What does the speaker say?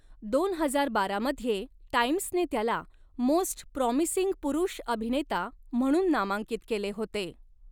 दोन हजार बारा मध्ये टाइम्सने त्याला मोस्ट प्रॉमिसिंग पुरुष अभिनेता म्हणून नामांकित केले होते.